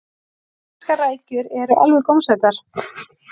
íslenskar rækjur eru alveg gómsætar